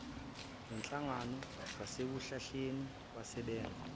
nenhlangano zasekuhlaleni basebenza